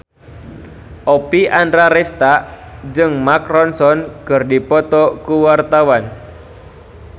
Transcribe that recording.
Oppie Andaresta jeung Mark Ronson keur dipoto ku wartawan